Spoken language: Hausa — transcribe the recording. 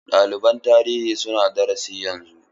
Ɗaliban tarihi suna darasi yanzu.